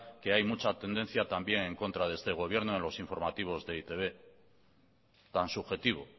que hay mucha tendencia también en contra de este gobierno en los informativos de e i te be tan subjetivo